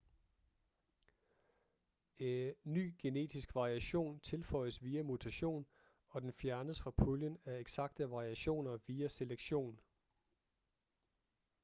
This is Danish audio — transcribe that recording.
ny genetisk variation tilføjes via mutation og den fjernes fra puljen af eksakte variationer via selektion